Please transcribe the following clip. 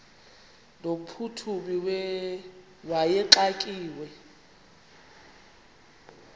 no mphuthumi wayexakiwe